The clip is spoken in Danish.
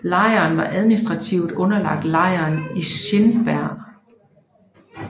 Lejren var administrativt underlagt lejren i Schildberg